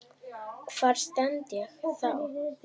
Hvar stend ég þá?